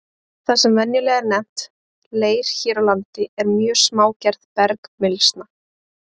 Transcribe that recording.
Það sem venjulega er nefnt leir hér á landi er mjög smágerð bergmylsna.